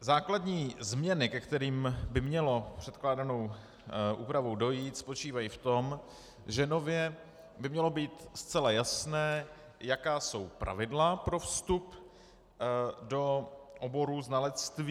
Základní změny, ke kterým by mělo předkládanou úpravou dojít, spočívají v tom, že nově by mělo být zcela jasné, jaká jsou pravidla pro vstup do oboru znalectví.